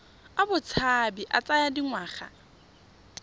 a botshabi a tsaya dingwaga